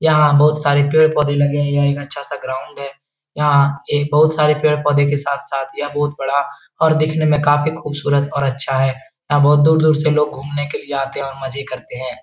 यहां बहुत सारे पेड़-पौधे लगे हैं यह एक अच्छा-सा ग्राउंड है यहां एक बहुत सारे पेड़-पौधे के साथ-साथ यह बहुत बड़ा और दिखने में काफी खूबसूरत और अच्छा है यहां बहुत दूर-दूर से लोग घूमने के लिए आते हैं और मजे करते हैं।